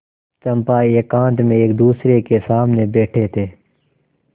चंपा एकांत में एकदूसरे के सामने बैठे थे